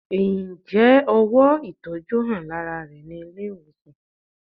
Ǹjẹ́ ówò ìtọjú hàn lárá rẹ ní ilé ìwòsàn?